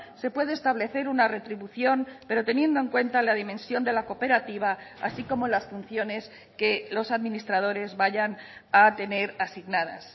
se puede establecer una retribución pero teniendo en cuenta la dimensión de la cooperativa así como las funciones que los administradores vayan a tener asignadas